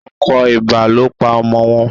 Akọ ibà ló pa ọmọ wọn.